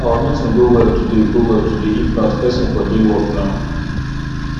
our meeting go well today go well today if not person for dey work now